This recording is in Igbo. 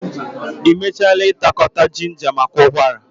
Ị mechaala ịta ngwakọta jinja maka ụkwara?